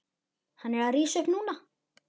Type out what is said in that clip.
Hann er að rísa upp núna.